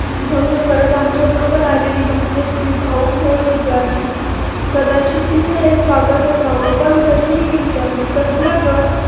भन्ग करत आमच्या बरोबर आलेली भाग्यश्री भावुक होऊन उद्गारली कदाचित तीच हे स्वागत असावं पण तरीही मी विचारलं कसलं ग?